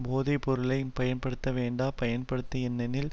போதை பொருளை பயன்படுத்தவேண்டா பயன்படுத்த எண்ணனில்